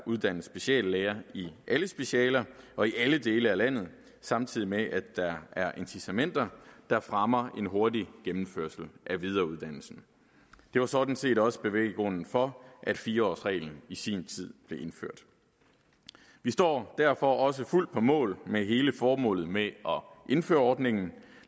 uddannes speciallæger i alle specialer og i alle dele af landet samtidig med at der er incitamenter der fremmer en hurtig gennemførelse af videreuddannelsen det var sådan set også bevæggrunden for at fire årsreglen i sin tid blev indført vi står derfor også fuldt på mål med hensyn til hele formålet med at indføre ordningen